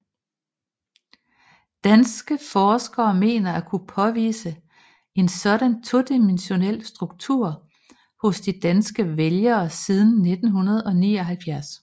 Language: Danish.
Danske forskere mener at kunne påvise en sådan todimensionel struktur hos de danske vælgere siden 1979